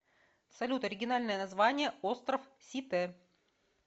салют оригинальное название остров сите